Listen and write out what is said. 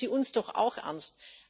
Nehmen Sie uns doch auch ernst.